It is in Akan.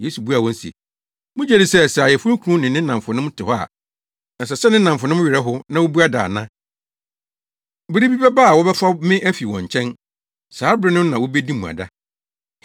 Yesu buaa wɔn se, “Mugye di sɛ, sɛ ayeforokunu ne ne nnamfonom te hɔ a, ɛsɛ sɛ ne nnamfonom no werɛ how, na wobua da ana? Bere bi bɛba a wɔbɛfa me afi wɔn nkyɛn. Saa bere no na wobedi mmuada.